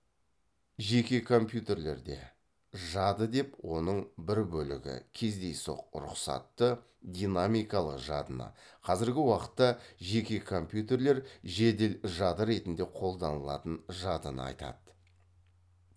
жеке компьютерлерде жады деп оның бір бөлігі кездейсоқ рұқсатты динамикалық жадыны қазіргі уақытта жеке компьютерлер жедел жады ретінде қолданылатын жадыны айтады